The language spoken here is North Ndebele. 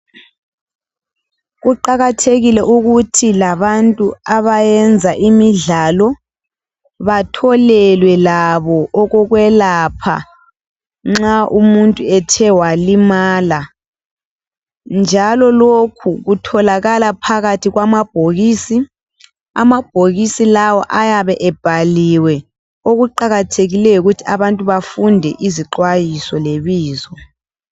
Kuqakathekile ukuthi labantu abayenza imidlalo batholelwe labo okokwelapha nxa umuntu ethe walimala. Njalo lokhu kutholakala phakathi kwamabhokisi. Amabhokisi lawa ayabe ebhaliwe okuqakathekileyo yikuthi abantu bafunde izixhwayiso lebizo.